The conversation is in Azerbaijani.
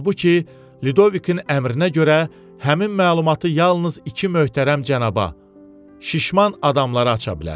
Halbuki Lidovikin əmrinə görə həmin məlumatı yalnız iki möhtərəm cənaba, şişman adamlara aça bilər.